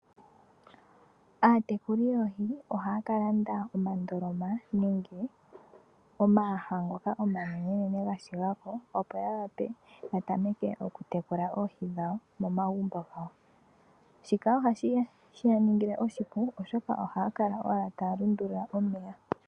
Aatekuli yoohi ohaya ka landa omandoloma nenge omayaha ngoka omanene nene ga shiga ko opo ya vule ya tameke okutekula oohi dhawo momagumbo gawo. Shika ohashi ya ningile oshipu oshoka ohaya kala ashike taya lundulula omeya.